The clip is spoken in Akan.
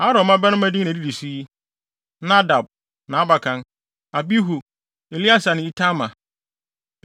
Aaron mmabarima din na edidi so yi: Nadab, nʼabakan, Abihu, Eleasar ne Itamar.